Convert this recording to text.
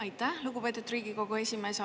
Aitäh, lugupeetud Riigikogu esimees!